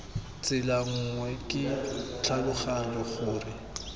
tsela nngwe ke tlhaloganya gore